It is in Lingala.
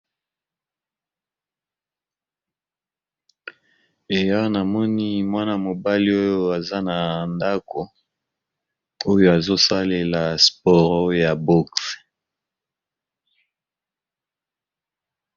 Awa namoni mwana mobali aza na ndako oyo azosalela sport ya boxe.